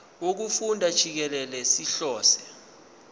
wokufunda jikelele sihlose